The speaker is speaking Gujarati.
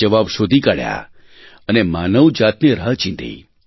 જવાબ શોધી કાઢ્યાં અને માનવ જાતને રાહ ચીંધી